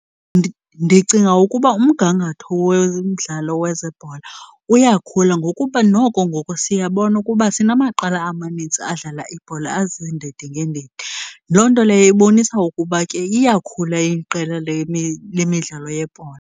Ndicinga ukuba umgangatho womdlalo wezebhola uyakhula ngokuba noko ngoku siyabona ukuba sinamaqela amanintsi adlala ibhola aziindindi ngeendindi. Loo nto leyo ibonisa ukuba ke iyakhula iqela lemidlalo yebhola.